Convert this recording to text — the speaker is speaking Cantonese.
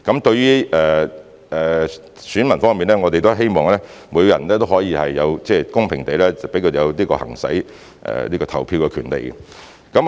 對於選民方面，我們希望每個人也可以公平地行使其投票權利。